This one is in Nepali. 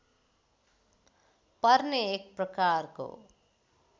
पर्ने एक प्रकारको